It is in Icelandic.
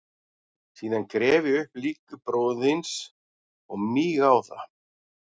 Síðan gref ég upp lík bróður þíns og míg á það.